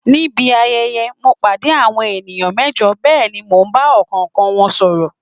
Nibi ayẹyẹ, mo pàdé àwọn ènìyàn mẹ́jọ bẹ́ẹ̀ ni mo bá ọ̀kọ̀ọ̀kan wọn sọ̀rọ̀